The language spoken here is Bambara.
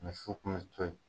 so kun ye cɔye.